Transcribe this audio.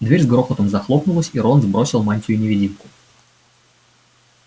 дверь с грохотом захлопнулась и рон сбросил мантию-невидимку